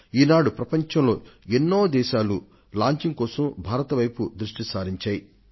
ఈ కారణంగానే ప్రపంచంలోని అనేక దేశాలు వాటి ఉపగ్రహాల ప్రయోగం కోసం భారతదేశం వైపు చూస్తున్నాయి